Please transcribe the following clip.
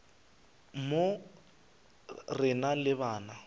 mo re na le bana